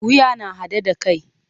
Wuya na haɗe da kai.